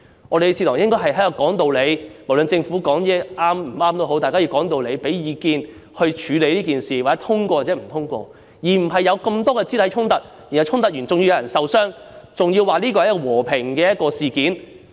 我們的議事堂應該是說道理的，無論政府說的話是對或錯，大家都要講道理、給意見、透過表決來處理事件，而不應有這麼多肢體衝突，導致有人受傷，還說這是和平事件。